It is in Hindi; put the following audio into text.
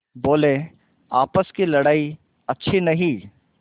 बोलेआपस की लड़ाई अच्छी नहीं